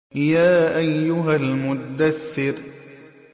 يَا أَيُّهَا الْمُدَّثِّرُ